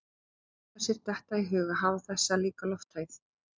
Að láta sér detta í hug að hafa þessa líka lofthæð